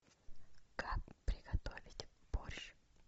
как приготовить борщ